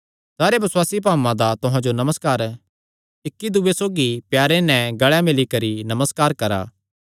सारे बसुआसी भाऊआं दा तुहां जो नमस्कार इक्की दूये सौगी प्यारे नैं गल़े मिल्ली करी नमस्कार करा